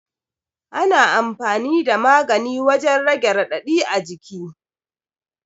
Ana amfani da magani wajan rage raɗaɗi a jiki